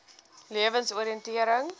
lewensoriëntering